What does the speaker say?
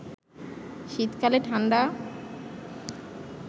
শীতকালে ঠাণ্ডা